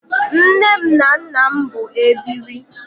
Nne m na nnam bụ ebiri